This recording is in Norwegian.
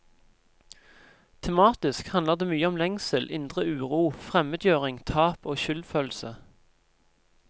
Tematisk handler det mye om lengsel, indre uro, fremmedgjøring, tap og skyldfølelse.